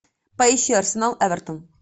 поищи арсенал эвертон